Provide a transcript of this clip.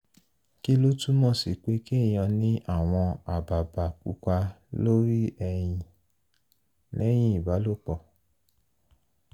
kí ló túmọ̀ sí pé kéèyàn ní àwọn àbàbà pupa lórí ẹyin lẹ́yìn ìbálòpọ̀?